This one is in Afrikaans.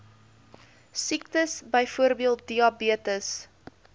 siektes byvoorbeeld diabetes